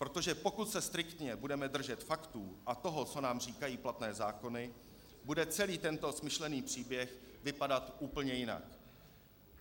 Protože pokud se striktně budeme držet faktů a toho, co nám říkají platné zákony, bude celý tento smyšlený příběh vypadat úplně jinak.